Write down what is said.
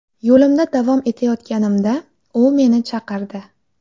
Yo‘limda davom etayotganimda u meni chaqirdi.